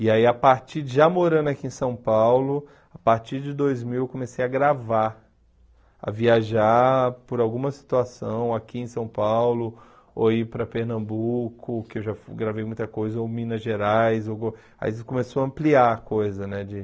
E aí, a partir já morando aqui em São Paulo, a partir de dois mil, comecei a gravar, a viajar por alguma situação aqui em São Paulo, ou ir para Pernambuco, que eu já gravei muita coisa, ou Minas Gerais ou go, aí começou a ampliar a coisa, né de?